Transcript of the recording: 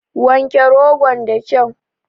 Wanke rogon da kau